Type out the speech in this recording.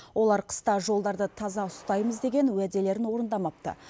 олар қыста жолдарды таза ұстаймыз деген уәделерін орындамапты